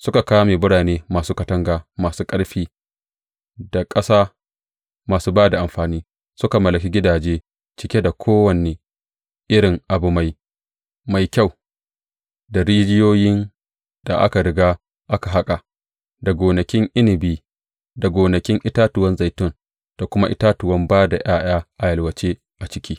Suka kame birane masu katanga masu ƙarfi, da ƙasa masu ba da amfani; suka mallaki gidaje cike da kowane irin abu mai kyau, da rijiyoyin da aka riga aka haƙa, da gonakin inabi, da gonakin itatuwan zaitun da kuma itatuwan ba da ’ya’ya a yalwace a ciki.